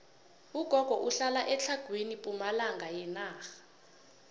ugogo uhlala etlhagwini pumalanga yenarha